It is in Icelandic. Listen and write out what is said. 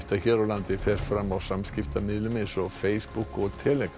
hér á landi fer fram á samskiptamiðlum eins og Facebook og